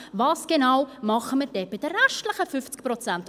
Was genau machen wir mit den restlichen 50 Prozent?